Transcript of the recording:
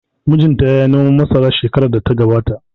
Mijin ta yayi noman masara shekarar da ta gabata